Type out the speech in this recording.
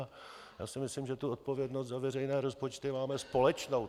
A já si myslím, že tu odpovědnost za veřejné rozpočty máme společnou.